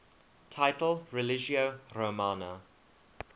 title religio romana